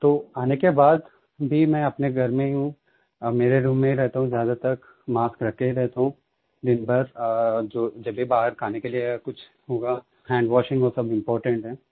तो आने के बाद भी मैं अपने घर में ही हूँ मेरे ही रूम में रहता हूँ ज्यादातर मास्क पहनकर ही रहता हूँ दिनभर जब भी बाहर खाने के लिये कुछ होगा hand वाशिंग वो सब इम्पोर्टेंट है